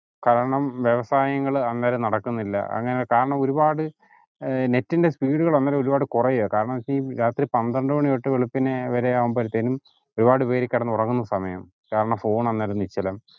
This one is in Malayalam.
കാരണം വ്യവസായങ്ങൾ അന്നേരം നടക്കുന്നില്ല കാരണം ഒരുപാട് ഏർ net ൻ്റെ speed ഒരുപാട് കുറയുവാ കാരണന്ന് പന്ത്രണ്ടു മണി തൊട്ട് വെളുപ്പിന് വരെ ആവുംബോഴാതെന്നും ഒരുപാട് പേര് കിടന്നുറങ്ങുന്ന സമയം കാരണം phone അന്നേരം നിശ്ചലം